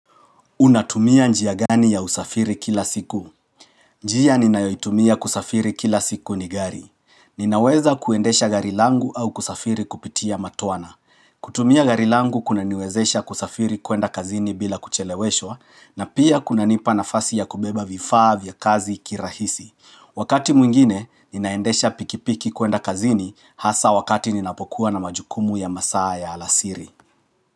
Unatumia njia gani ya usafiri kila siku? Njia ninaoitumia kusafiri kila siku ni gari. Ninaweza kuendesha gari langu au kusafiri kupitia matwana kutumia gari langu kuna niwezesha kusafiri kuenda kazini bila kucheleweshwa, na pia kunanipa nafasi ya kubeba vifaa vya kazi kirahisi. Wakati mwingine, ninaendesha pikipiki kuenda kazini hasaa wakati ninapokuwa na majukumu ya masaa ya alasiri.